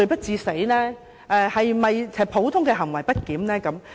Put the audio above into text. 是否普通的行為不檢？